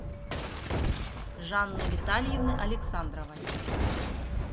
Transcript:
жанны витальевны александровой